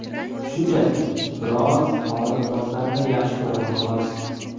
Shunchaki, biroz tor liboslarni yaxshi ko‘raman, xolos.